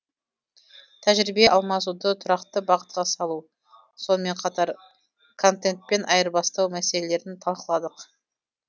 тәжірибе алмасуды тұрақты бағытқа салу сонымен қатар контентпен айырбастау мәселелерін талқыладық